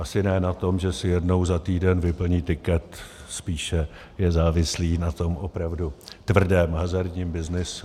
Asi ne na tom, že si jednou za týden vyplní tiket, spíše je závislý na tom opravdu tvrdém hazardním byznysu.